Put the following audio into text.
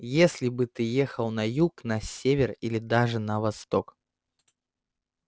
если бы ты ехал на юг на север или даже на восток